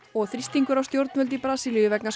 og þrýstingur á stjórnvöld í Brasilíu vegna